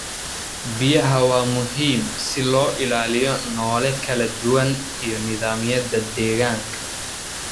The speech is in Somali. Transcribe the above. Biyaha waa muhiim si loo ilaaliyo noole kala duwan iyo nidaamyada deegaanka.